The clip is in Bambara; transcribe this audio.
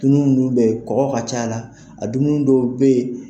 Dumini minnu bɛyi kɔkɔ ka c'a la a dumini dɔw bɛyen.